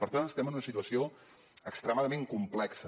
per tant estem en una situació extremadament complexa